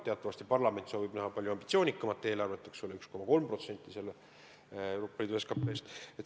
Teatavasti parlament soovib näha palju ambitsioonikamat eelarvet, eks ole, 1,3% Euroopa Liidu SKP-st.